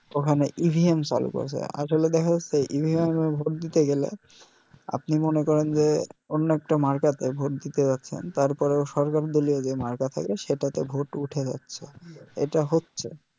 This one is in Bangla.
ওখানে EVM চালু করেছে আসলে দেখা যাছে EVM ভোট দিতে গেলে আপনি মনে করে যে অন্য একটা মার্কা তে ভোট দিতে যাচ্ছেন তারপরেও সরকার দলীয় যে মার্কা থাকে সেটাতে ভোট উঠে যাচ্ছে এটা হচ্ছে